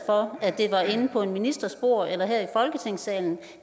for at en ministers bord eller her